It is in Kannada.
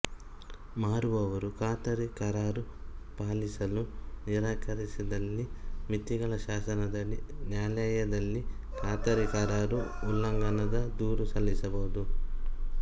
ಮಾರುವವರು ಖಾತರಿ ಕರಾರು ಪಾಲಿಸಲು ನಿರಾಕರಿಸಿದಲ್ಲಿ ಮಿತಿಗಳ ಶಾಸನದಡಿ ನ್ಯಾಯಾಲಯದಲ್ಲಿ ಖಾತರಿ ಕರಾರು ಉಲ್ಲಂಘನದ ದೂರು ಸಲ್ಲಿಸಬಹುದು